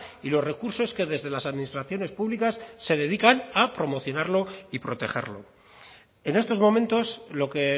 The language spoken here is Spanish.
y los recursos que desde las administraciones públicas se dedica a promocionarlo y protegerlo en estos momentos lo que